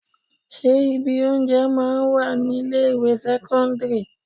Ṣé ibi oúnjẹ máa ń wà ní ilé ìwé sẹ́kọ́ńdírì?